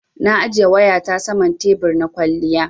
Na ajiye wayata saman tebur na kwaliya.